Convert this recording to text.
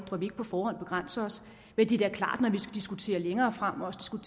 så vi ikke på forhånd begrænser os men det er klart når diskuterer længere frem og skal